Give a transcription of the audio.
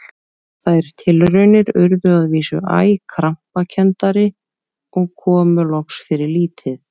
Þær tilraunir urðu að vísu æ krampakenndari og komu loks fyrir lítið.